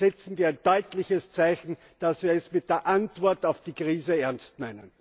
Dann setzen wir ein deutliches Zeichen, dass wir es mit der Antwort auf die Krise ernst meinen.